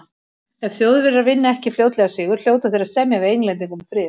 Ef Þjóðverjar vinna ekki fljótlega sigur, hljóta þeir að semja við Englendinga um frið.